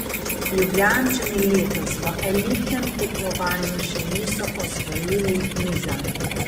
Ljubljančani letos v elitnem tekmovanju še niso osvojili niza.